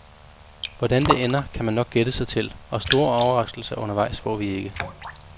Hvordan det ender, kan man nok gætte sig til, og store overraskelser undervejs får vi ikke.